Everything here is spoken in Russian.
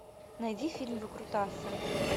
найди фильм выкрутасы